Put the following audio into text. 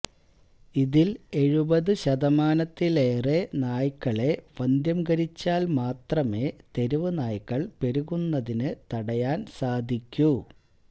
ഇതില് എഴുപത് ശതമാനത്തിലേറെ നായ്ക്കളെ വന്ധ്യംകരിച്ചാല് മാത്രമേ തെരുവുനായ്ക്കള് പെരുകുന്നതിന് തടയാന് സാധിക്കൂ